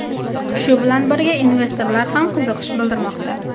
Shu bilan birga investorlar ham qiziqish bildirmoqda.